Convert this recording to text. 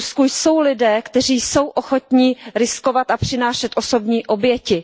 V Rusku jsou lidé, kteří jsou ochotni riskovat a přinášet osobní oběti.